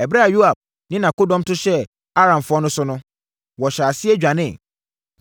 Ɛberɛ a Yoab ne nʼakodɔm to hyɛɛ Aramfoɔ no so no, wɔhyɛɛ aseɛ dwaneeɛ.